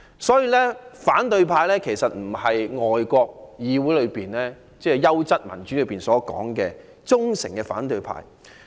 所以，香港的反對派其實並不是外國議會——即優質民主——中所指的"忠誠的反對派"。